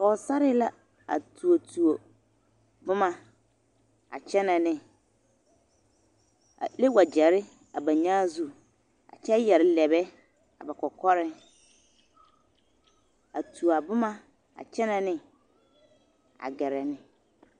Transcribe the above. Pɔgesare la a tuo tuo boma a kyɛnɛ neŋ a le wagyare a ba nyaa zu kyɛ yare lɛrɛɛ ba kɔkɔreŋ a tuo a boma a kyɛnɛ neŋ a gɛrɛ neŋ.